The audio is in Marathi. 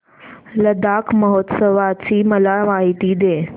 लडाख महोत्सवाची मला माहिती दे